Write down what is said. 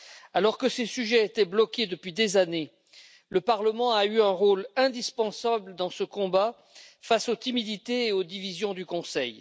Alors que ces sujets étaient bloqués depuis des années, le Parlement a joué un rôle indispensable dans ce combat face aux timidités et aux divisions du Conseil.